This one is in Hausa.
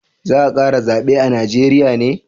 Za a kara zabe a Najeriya ne?